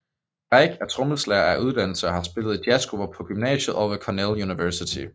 Reich er trommeslager af uddannelse og har spillet i jazzgrupper på gymnasiet og ved Cornell University